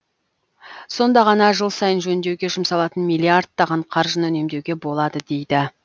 сонда ғана жыл сайын жөндеуге жұмсалатын миллиардтаған қаржыны үнемдеуге болады дейді